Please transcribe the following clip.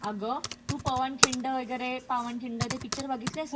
अ्ग, तू पवनखिंड वगैरे ते पावनखिंड ते पिक्चर बघितलेस का?